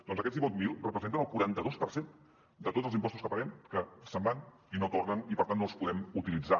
doncs aquests divuit mil representen el quaranta dos per cent de tots els impostos que paguem que se’n van i no tornen i per tant no els podem utilitzar